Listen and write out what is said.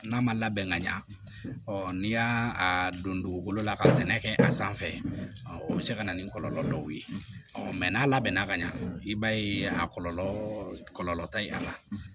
N'a ma labɛn ka ɲa n'i y'a don dugukolo la ka sɛnɛ kɛ a sanfɛ o bi se ka na ni kɔlɔlɔ dɔw ye n'a labɛnna ka ɲa i b'a ye a kɔlɔlɔ tɛ a la